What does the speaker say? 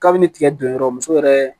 Kabini tigɛ don yɔrɔ muso yɛrɛ